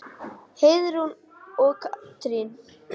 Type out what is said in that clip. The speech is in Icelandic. Heiðrún og Katrín.